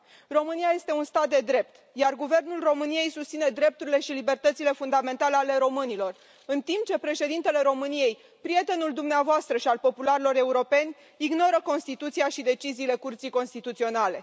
România este un stat de drept, iar Guvernul României susține drepturile și libertățile fundamentale ale românilor, în timp ce președintele României, prietenul dumneavoastră și al popularilor europeni, ignoră Constituția și deciziile Curții Constituționale.